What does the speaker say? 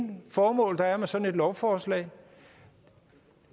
formål der er med sådan et lovforslag